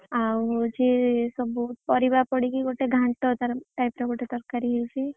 ଆଉ ହଉଛି ସବୁ ପରିବା ପଡିକି ଗୋଟେ ଘାଣ୍ଟ type ର ଗୋଟେ ତରକାରୀ ହେଇଛି।